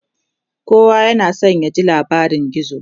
kowa yana San ya ji labarin gizo